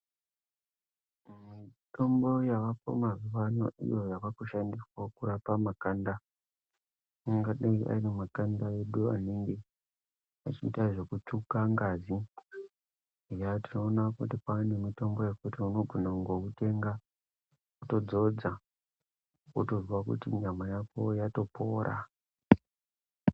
Mitombo yavako mazuva ano iyo yavaku shandiswa kurapa makanda angadai ari makanda edu anenge achiita zveku tsvuka ngazi eya tinoona kuti kwane mitombo yekuti unogona kutongo utenga woto dzodza wotozwa kuti nyama yako yato pora.